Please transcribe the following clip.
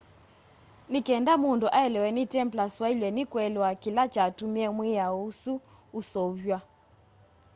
ni kenda mundu aelewe ni templars wailwe ni kuelewa kila kyatumie mwiao usu useuvwa